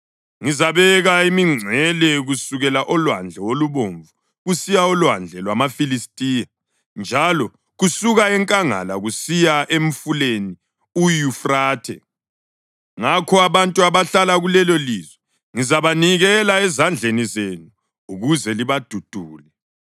Ngizabeka imingcele kusukela oLwandle oluBomvu kusiya oLwandle lwamaFilistiya, njalo kusuka enkangala kusiya emfuleni uYufrathe. Ngakho abantu abahlala kulelolizwe ngizabanikela ezandleni zenu ukuze libadudule.